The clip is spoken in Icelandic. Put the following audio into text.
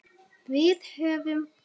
Við höfðum